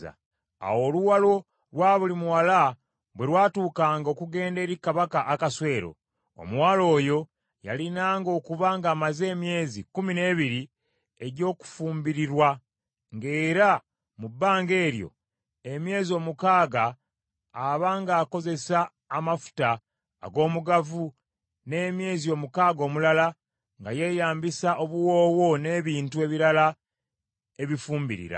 Awo oluwalo lwa buli muwala bwe lwatuukanga okugenda eri Kabaka Akaswero, omuwala oyo yalinanga okuba ng’amaze emyezi kkumi n’ebiri egy’okufumbirirwa, ng’era mu bbanga eryo, emyezi omukaaga aba ng’akozesa amafuta ag’omugavu n’emyezi omukaaga omulala nga yeyambisa obuwoowo n’ebintu ebirala ebifumbirira.